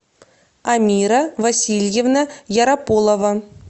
амира васильевна ярополова